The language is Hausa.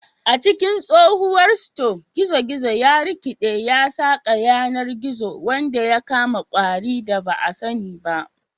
A cikin tsohuwar sito, gizo-gizo ya rikiɗe ya saƙa yanar gizo wanda ya kama ƙwari da ba a sani ba.